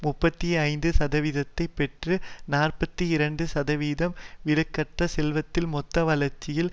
முப்பத்தி ஐந்து சதவீதத்தை பெற்று நாற்பத்தி இரண்டு சதவீதம் வீடுகளற்ற செல்வத்தின் மொத்த வளர்ச்சியில்